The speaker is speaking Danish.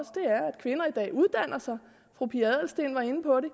kvinder i dag uddanner sig fru pia adelsteen var inde på det